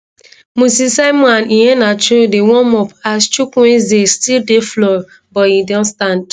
moses simon and iheanacho dey warm up as chukwueze still dey floor but e don stand